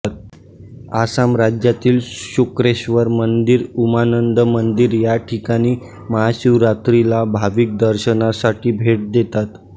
आसाम राज्यातील शुक्रेश्वर मंदिर उमानंद मंदिर या ठिकाणी महाशिवरात्रीला भाविक दर्शनासाठी भेट देतात